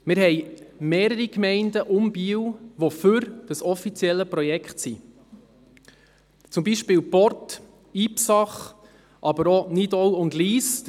Es gibt mehrere Gemeinden rund um Biel, die für das offizielle Projekt sind, zum Beispiel Port und Ipsach, aber auch Nidau und Lyss.